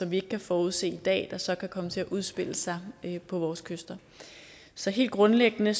vi ikke kan forudsige i dag der så kan komme til at udspille sig på vores kyster så helt grundlæggende